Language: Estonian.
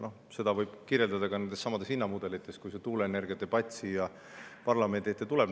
Noh, seda võib kirjeldada ka nendessamades hinnamudelites, kui see tuuleenergiadebatt siia parlamenti tuleb.